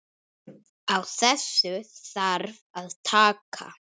Á þessu þarf að taka.